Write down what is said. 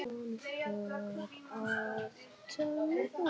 Í rauninni hafði hann ekki hugsað svo langt.